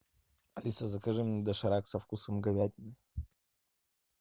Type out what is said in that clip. алиса закажи мне доширак со вкусом говядины